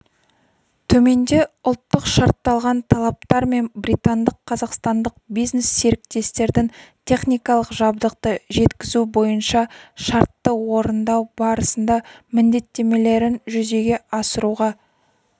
төменде ұлттық-шартталған талаптар мен британдық-қазақстандық бизнес-серіктестердің техникалық жабдықты жеткізу бойынша шартты орындау барысында міндеттемелерін жүзеге асыруға